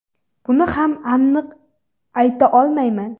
Buni ham aniq ayta olmayman.